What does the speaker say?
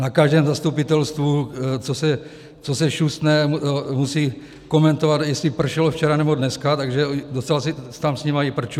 Na každém zastupitelstvu, co se šustne, musí komentovat, jestli pršelo včera, nebo dneska, takže docela tam mám s nima i prču.